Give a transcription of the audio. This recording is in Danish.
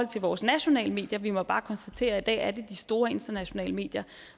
til vores nationale medier vi må bare konstatere at det er de store internationale medier